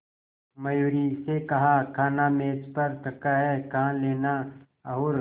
मयूरी से कहा खाना मेज पर रखा है कहा लेना और